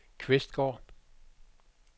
Kvistgård